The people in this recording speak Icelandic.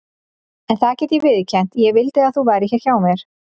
En það get ég viðurkennt: ég vildi að þú værir hér hjá mér.